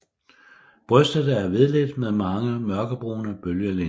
Brystet er hvidligt med mange mørkebrune bølgelinjer